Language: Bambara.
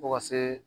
Fo ka se